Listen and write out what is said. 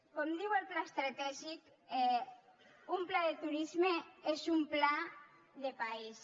com diu el pla estratègic un pla de turisme és un pla de país